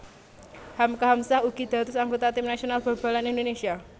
Hamka Hamzah ugi dados anggota tim nasional bal balan Indonésia